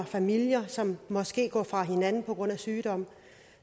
familier som måske går fra hinanden på grund af sygdom